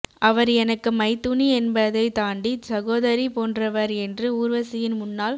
அவர் எனக்கு மைத்துனி என்பதை தாண்டி சகோதரி போன்றவர் என்று ஊர்வசியின் முன்னாள்